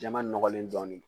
Jɛman nɔgɔlen dɔɔnin